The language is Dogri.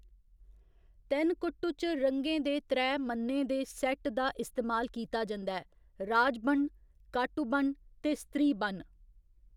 तेनकुट्टू च रंगें दे त्रै मन्ने दे सेट्ट दा इस्तेमाल कीता जंदा ऐ, राजबण्ण, काटुबण्ण ते स्त्रीबण्ण।